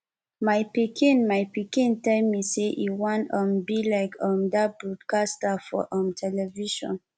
my pikin my pikin tell me say e wan um be like um dat broadcaster for um television